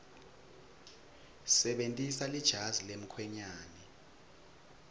sebentisa lejazi lemkhwenyane